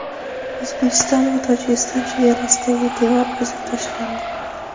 O‘zbekiston va Tojikiston chegarasidagi devor buzib tashlandi.